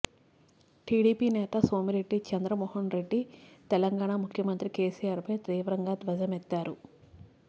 TDP నేత సోమిరెడ్డి చంద్రమోహన్ రెడ్డి తెలంగాణ ముఖ్యమంత్రి KCR పై తీవ్రంగా ధ్వజమెత్తారు